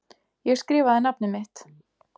Ég skrifaði nafnið mitt.